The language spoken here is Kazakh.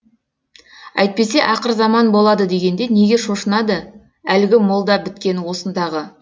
әйтпесе ақыр заман болады дегенде неге шошынады әлгі молда біткен осындағы